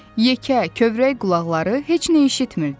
Yekə, kövrək qulaqları heç nə eşitmirdi.